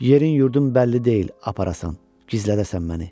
Yerin-yurdun bəlli deyil, aparasan, gizlədəsən məni.